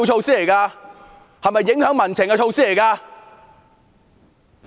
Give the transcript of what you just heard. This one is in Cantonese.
是影響民情的措施嗎？